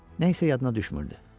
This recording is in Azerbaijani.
Nə isə yadına düşmürdü.